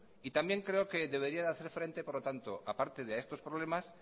también creo que deberían hacer frente por lo tanto aparte de estos problemas